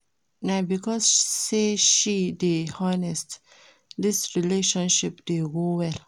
Na because sey she dey honest dis relationship dey go well.